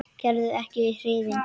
Gerður er ekki hrifin.